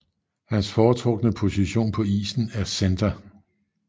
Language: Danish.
Hans foretrukne position på isen er center